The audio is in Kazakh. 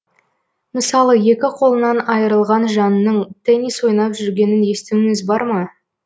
мысалы екі қолынан айырылған жанның теннис ойнап жүргенін естуіңіз бар ма